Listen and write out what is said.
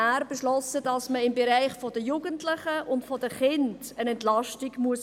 Er beschloss, dass man im Bereich der Jugendlichen und Kinder eine Entlastung vornehmen muss.